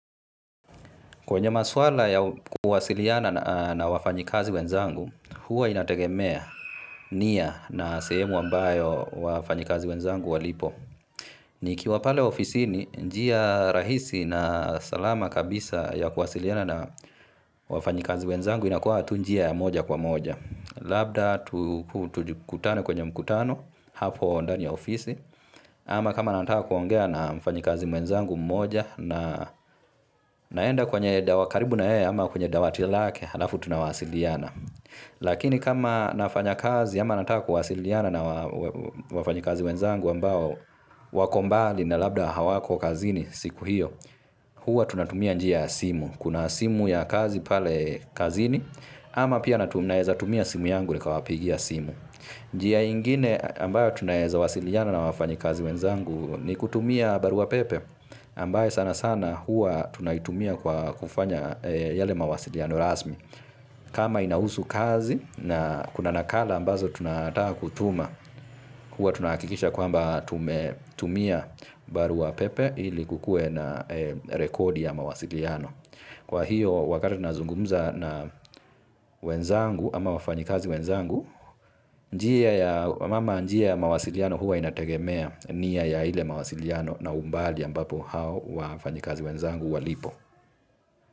Kwenye maswala ya kuwasiliana na wafanyikazi wenzangu, huwa inategemea niya na sehemu ambayo wafanyikazi wenzangu walipo. Nikiwa pale ofisi ni njia rahisi na salama kabisa ya kuwasiliana na wafanyikazi wenzangu inakuwa tunjia ya moja kwa moja. Labda tu kutane kwenye mkutano hapo ndani ya ofisi. Ama kama nataka kuongea na mfanyikazi mwenzangu mmoja na naenda kwenye dawa karibu nayea ama kwenye dawatilake, halafu tunawasiliana. Lakini kama nafanya kazi ama nataa kuwasiliana na wafanyikazi mwenzangu ambao wakombali na labda hawako kazini siku hiyo, huwa tunatumia njiya simu. Kuna simu ya kazi pale kazini ama pia naeza tumia simu yangu nikawapigia simu. Njia ingine ambayo tunaeza wasiliana na wafanyi kazi wenzangu ni kutumia barua pepe ambayo sana sana hua tunaitumia kwa kufanya yale mawasiliano rasmi. Kama inahusu kazi na kuna nakala ambazo tunataka kutuma hua tunakikisha kwamba tumetumia barua pepe ili kukue na rekodi ya mawasiliano. Kwa hiyo wakati nazungumuza na wenzangu ama wafanyikazi wenzangu, mama njia ya mawasiliano huwa inategemea niya ya ile mawasiliano na umbali ambapo hao wafanyikazi wenzangu walipo.